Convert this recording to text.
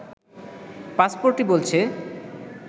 পাসপোর্টই বলছে